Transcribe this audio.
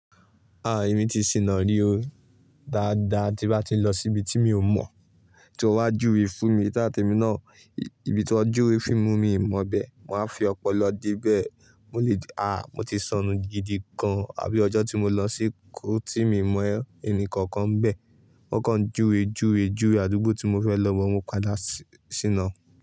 Ah! Èmi ti sìna rí o dáadáa tí bá ti ń lọ síbi tí mi ò mọ̀, tí ó wá júwe fún mi. Táà tèmi náà, ibi tí wọ́n júwe fún mi, mi ò mọ bẹ́ẹ̀. Mo wá fi ọpọlọ dé bẹ̀, mo lè, ah, mo ti sọnù gidigan, àbí ọjọ́ tí mo lọ seko tí mo mọ ẹnikankan n bẹ. Wọ́n kan júwe, júwe, júwe, àdúgbò tí mo fẹ́ lọ but mo padà ṣína.